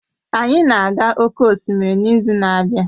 Anyị na-aga oke osimiri n'izu na-abịa